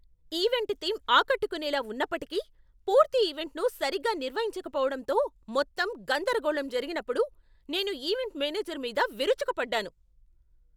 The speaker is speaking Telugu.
ఈవెంట్ థీమ్ ఆకట్టుకునేలా ఉన్నప్పటికీ, పూర్తి ఈవెంట్ను సరిగ్గా నిర్వహించకపోవడంతో మొత్తం గందరగోళం జరిగినప్పుడు నేను ఈవెంట్ మేనేజర్ మీద విరుచుకుపడ్డాను.